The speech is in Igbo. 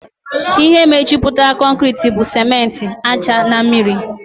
Ihe mejupụtara concreti bụ simenti, ájá na mmiri